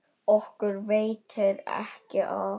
Okkur veitir ekki af.